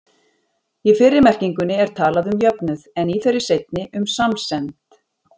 Í fyrri merkingunni er talað um jöfnuð, en í þeirri seinni um samsemd.